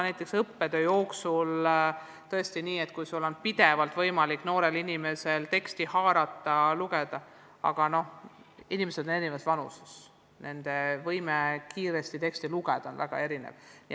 Näiteks õppetöös võib tõesti olla nii, et noorel inimesel on selle abil võimalik teksti haarata ja lugeda, aga inimesed on erinevas vanuses, nende võime kiiresti teksti lugeda on väga erinev.